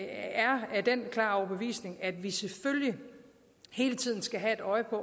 er af den klare overbevisning at vi selvfølgelig hele tiden skal have et øje på